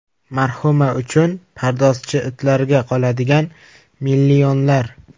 Marhuma uchun pardozchi, itlarga qoladigan millionlar.